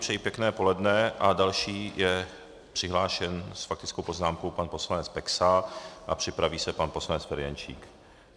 Přeji pěkné poledne a další je přihlášen s faktickou poznámkou pan poslanec Peksa a připraví se pan poslanec Ferjenčík.